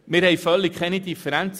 Wir stimmen ab.